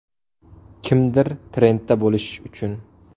Kimdir trendda bo‘lish uchun.